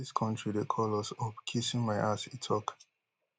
i dey tell you dis kontri dey call us up kissing my ass e tok